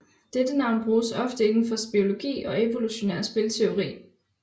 Dette navn bruges oftes inden for biologi og evolutionær spilteori